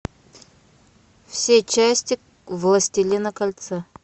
все части властелина кольца